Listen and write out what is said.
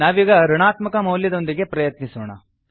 ನಾವೀಗ ಋಣಾತ್ಮಕ ಮೌಲ್ಯದೊಂದಿಗೆ ಪ್ರಯತ್ನಿಸೋಣ